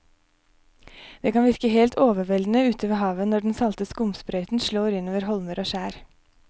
Det kan virke helt overveldende ute ved havet når den salte skumsprøyten slår innover holmer og skjær.